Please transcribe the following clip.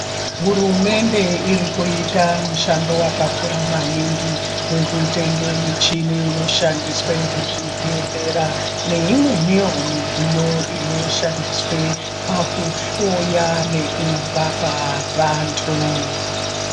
Hurumende irikuita mushando wakakura maningi wekutenga michini inoshandiswa muzvibhedhlera neimweni wo midziyo inoshandiswa pakuhloya nekurapa vantu.